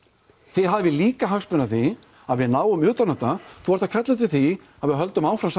þið hafið líka hagsmuni að því að við náum utan um þetta þú ert að kalla eftir því að við höldum áfram